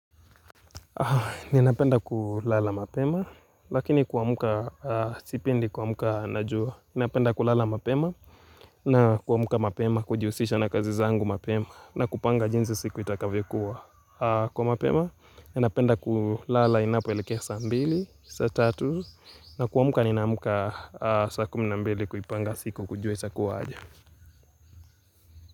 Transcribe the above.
Ninapenda kulala mapema, lakini kuamka sipendi kuamka na jua. Ninapenda kulala mapema na kuamka mapema kujihusisha na kazi zangu mapema na kupanga jinsi siku itakavyokuwa. Kwa mapema, ninapenda kulala inapoelekea sa mbili, saa tatu, na kuamka ninaamka sa kumi na mbili kuipanga siku kujua itakuwa aje.